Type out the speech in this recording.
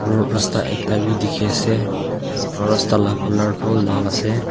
aro rasta ekta bi dikhiase aro rasta la colour tu laal ase.